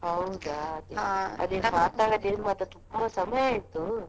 ಹೌದಾ ಮಾತಾಡದೆ ಮಾತ್ರ ತುಂಬಾ ಸಮಯ ಆಯ್ತು.